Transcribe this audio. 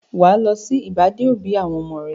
Wà á lọ sí ìbàdé-òbí àwọn ọmọ rẹ.